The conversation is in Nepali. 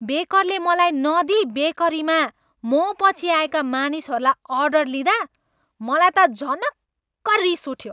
बेकरले मलाई नदिइ बेकरीमा मपछि आएका मानिसहरूबाट अर्डर लिँदा मलाई त झनक्क रिस उठ्यो।